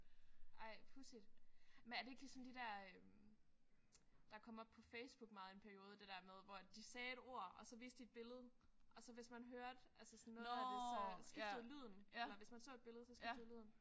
Ej pudsigt. Men er det ikke ligesom de der der kom op på Facebook meget i en periode. Det der med hvor at de sagde et ord og så viste de et billede og så hvis man så hørte altså sådan noget af det så skiftede lyden eller hvis man så et billede så skiftede lyden